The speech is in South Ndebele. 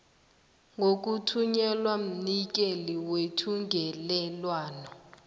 ngokuthunyelwa mnikeli wethungelelwano